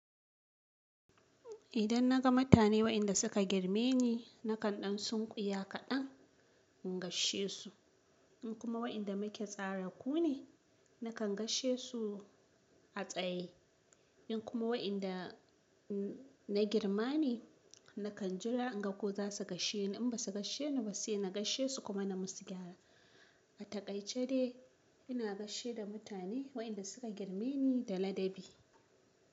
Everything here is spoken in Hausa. Idan naga mutane wa'inda suka girme ni nakan ɗan tsunkuya kaɗan, in gasshe su. In kuma wa'inda muke tsaraku ne, nakan gasshe su a tsaye. In kuma wa'inda na girma ne, nakan jira in ga ko za su gasshe ni. In ba su gasshe ni ba, sai na gasshe su kuma na musu gyara. A taƙaice dai ina gasshe da mutane, wa'inda suka girme ni da ladabi.